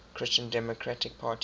christian democratic party